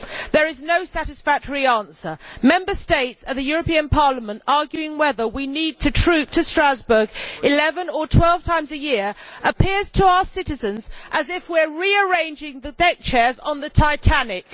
There is no satisfactory answer. Member States and the European Parliament arguing whether we need to troop to Strasbourg 11 or 12 times a year appears to our citizens as if we are rearranging the deckchairs on the Titanic.